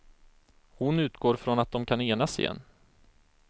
Hon utgår från att de kan enas igen.